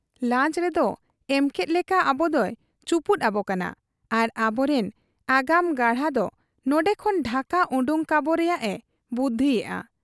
ᱞᱟᱧᱪᱚ ᱨᱮᱫ ᱮᱢᱠᱮᱫ ᱞᱮᱠᱟ ᱟᱵᱚᱫᱚᱭ ᱪᱩᱯᱩᱫ ᱟᱵᱚ ᱠᱟᱱᱟ ᱟᱨ ᱟᱵᱚᱨᱤᱱ ᱟᱜᱟᱢ ᱜᱟᱬᱟ ᱫᱚ ᱱᱚᱱᱰᱮ ᱠᱷᱚᱱ ᱰᱷᱟᱠᱟ ᱚᱰᱚᱠ ᱠᱟᱵᱚ ᱨᱮᱭᱟᱜ ᱮ ᱵᱩᱫᱷᱤᱭᱮᱜ ᱟ ᱾